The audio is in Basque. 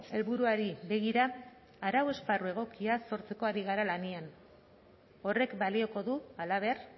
helburuari begira arau esparru egokia sortzeko ari gara lanean horrek balioko du halaber